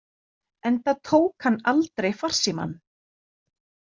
Enda tók hann aldrei farsímann.